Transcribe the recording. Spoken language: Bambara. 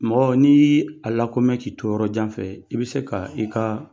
Mɔgɔ n'i ye a lakomɛ k'i to yɔrɔ jan fɛ, i bɛ se ka i ka